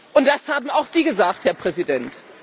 Und das haben auch Sie gesagt, Herr Präsident.